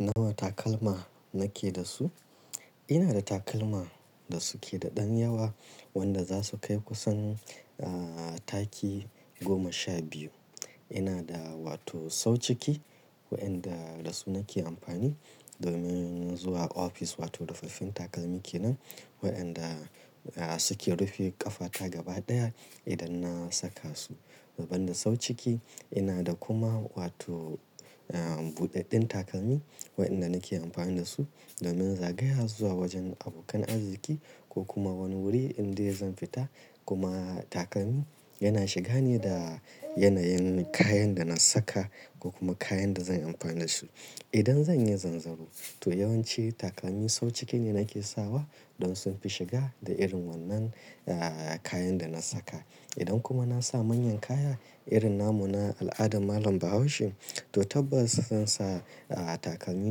Nawa takalma nake da su? Ina da takalma da suke da ɗan yawa wanda za su kai kusan, ah, taki goma sha biyu. Ina da wato sau ciki waɗanda da su nake amfani domin zuwa ofis wato rufaffen takalmi kenan waɗanda, ah, suke rufe ƙafa ta gaba ɗaya idan na saka su. Saboda sau ciki ina da kuma wato, ah, buɗaɗɗen takalmi waɗanda nake amfani da su domin zagaya zuwa wajen abokan arziki ko kuma wani wuri inda zan fita. Kuma takalmi yana shiga ne da yanayin kayan da na saka ko kuma kayan da zan amfani da su. Idan zan yi zanzaro to yawanci takalmi sau ciki ne nake sawa don sun fi shiga da irin wannan, ah, kayan da na saka. Idan kuma na sa manyan kaya irin namun al'adar malam Bahaushe to tabbas zan sa, ah, takalmi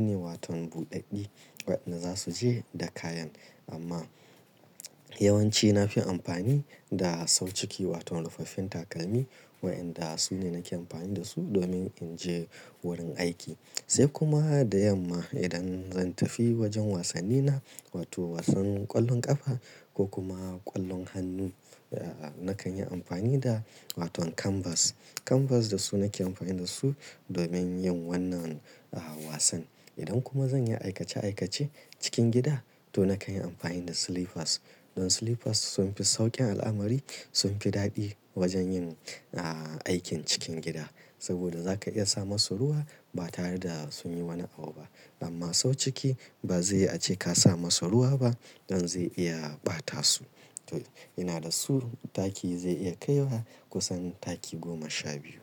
ne wato buɗaɗɗi waɗanda za su je da kayan. Amma yawanci na fi amfani da sau ciki wato rufaffen takalmi waɗanda su ne nake amfani da su domin in je wurin aiki. Sai kuma da yamma idan zan tafi wajen wasanni na wato wasan ƙwallon ƙafa ko kuma ƙwallon hannu, ah, nakan yi amfani da wato kanbas. Kanbas da su nake amfani da su domin yin wannan, ah, wasan. Idan kuma zan yi aikace aikace cikin gida to nakan yi amfani da silifas. Don silifas sun fi sauƙin al'amari, sun fi daɗi wajen yin, ah, aikin cikin gida saboda za ka iya sa masu ruwa ba tare da sun yi wani abu ba. Amma sau ciki ba zai ace ka sa masu ruwa ba don zai iya ɓata su. Amma yawanci na fi amfani da sau ciki wato rufaffen takalmi waɗanda su ne nake amfani da su domin in je wurin aiki.